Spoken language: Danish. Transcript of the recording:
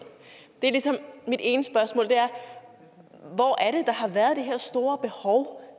mit ene spørgsmål er hvor er det der har været det her store behov